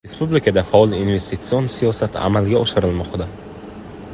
Respublikada faol investitsion siyosat amalga oshirilmoqda.